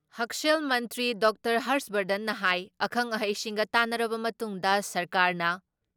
ꯍꯛꯁꯦꯜ ꯃꯟꯇ꯭ꯔꯤ ꯗꯣꯛꯇꯔ ꯍꯔꯁ ꯕꯔꯙꯟꯅ ꯍꯥꯏ ꯑꯈꯪ ꯑꯍꯩꯁꯤꯡꯒ ꯇꯥꯟꯅꯔꯕ ꯃꯇꯨꯡꯗ ꯁꯔꯀꯥꯔꯅ